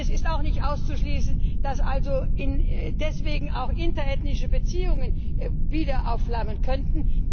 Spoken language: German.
und es ist auch nicht auszuschließen, dass also deswegen auch interethnische Spannungen wieder aufflammen könnten.